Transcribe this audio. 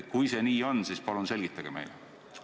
Kui see nii on, siis palun selgitage meile!